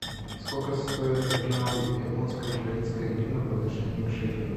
сколько стоит одна японская украинская гривна по отношению к шекелю